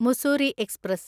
Mussoorie express